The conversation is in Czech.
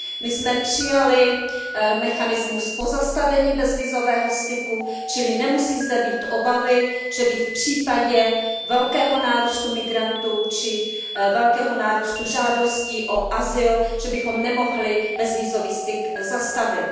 My jsme přijali mechanismus pozastavení bezvízového styku, čili nemusí zde být obavy, že bychom v případě velkého nárůstu migrantů či velkého nárůstu žádostí o azyl nemohli bezvízový styk zastavit.